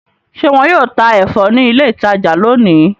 Ṣe wọn yóò tá ẹfọ ni ilé ìtajà lóni?